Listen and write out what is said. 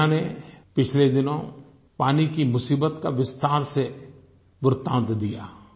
media ने पिछले दिनों पानी की मुसीबत का विस्तार से वृत्तांत दिया